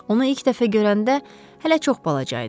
Onu ilk dəfə görəndə hələ çox balaca idi.